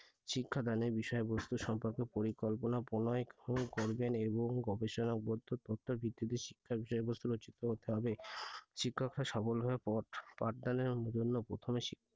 শিক্ষাদানের বিষয়বস্তু সম্পর্কে পরিকল্পনা প্রণয়ন করবেন এবং গবেষণা উপাত্ত তথ্যের ভিত্তিতে শিক্ষার বিষয়বস্তু রচিত করতে হবে। শিক্ষকরা সফলভাবে পাঠদানের জন্য প্রথমে,